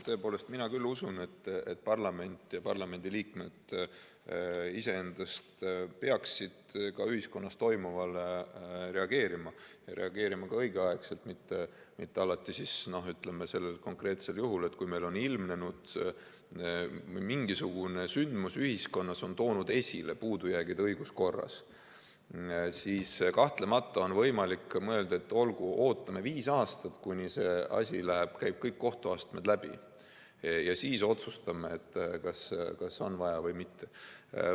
Tõepoolest, mina küll usun, et parlament ja parlamendiliikmed iseendast peaksid ka ühiskonnas toimuvale reageerima ja reageerima ka õigeaegselt, mitte nii nagu konkreetsel juhul, et kui meil on ilmnenud mingisugune sündmus ühiskonnas ja see on toonud esile puudujäägid õiguskorras, siis kahtlemata on võimalik mõelda, et olgu, ootame viis aastat, kuni see asi käib kõik kohtuastmed läbi, ja siis otsustame, kas on vaja või mitte.